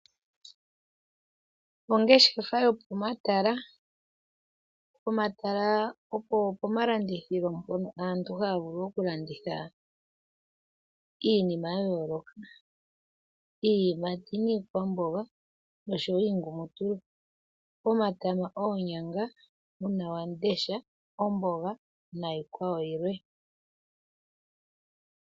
Ongeshefa yo pomatala. Pomatala opo malandithilo ngono aantu haya vulu okulanditha iinima ya yooloka, iiyimati niikwamboga noshowo iingumutulu, omatama, oonyanga, uunawamundesha, omboga naiikwawo yilwe.